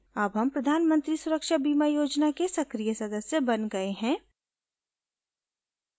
अब हम प्रधान मंत्री सुरक्षा बीमा योजना के सक्रीय सदस्य बन गए हैं